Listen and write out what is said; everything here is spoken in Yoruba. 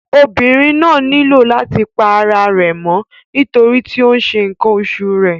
Obìnrin náà nílò láti pa ara rẹ̀ mọ́ nítorí tí ó ń ṣe ǹkan oṣù rẹ̀.